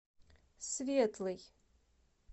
светлый